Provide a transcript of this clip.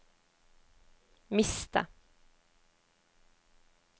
miste